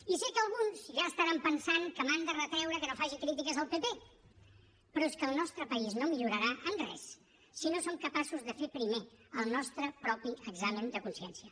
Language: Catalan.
i sé que alguns ja deuen estar pensant que m’han de retreure que no faci crítiques al pp però és que el nostre país no millorarà en res si no som capaços de fer primer el nostre propi examen de consciència